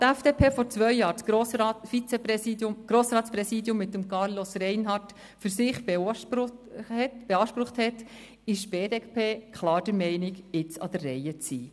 Da die FDP vor zwei Jahren das Grossratspräsidium mit Carlos Reinhard für sich beansprucht hat, ist die BDP klar der Meinung, jetzt an der Reihe zu sein.